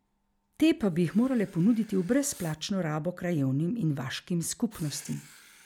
Te pa bi jih morale ponuditi v brezplačno rabo krajevnim in vaškim skupnostim.